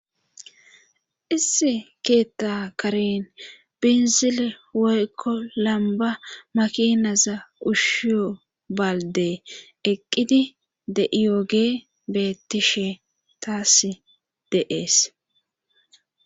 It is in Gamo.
issi keetta karen binzile woykko lamba makinaza ushshiyo baldee eqqidi de7iyooge bettishe taas deees